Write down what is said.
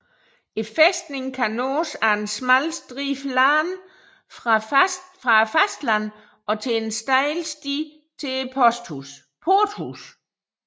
Fæstningen kan nås ad en smal stribe land fra fastlandet og til en stejl sti til porthuset